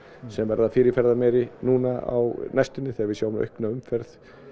sem verða fyrirferðameiri núna á næstunni þegar við sjáum aukna umferð